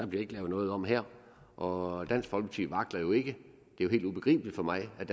bliver lavet noget om her og dansk folkeparti vakler jo ikke det er helt ubegribeligt for mig at